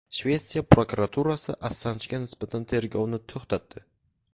Shvetsiya prokuraturasi Assanjga nisbatan tergovni to‘xtatdi.